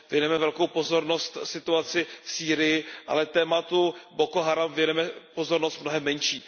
Věnujeme velkou pozornost situaci v Sýrii, ale tématu Boko Haram věnujeme pozornost mnohem menší.